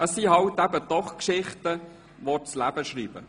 Es sind halt eben doch Geschichten, die das Leben schreibt.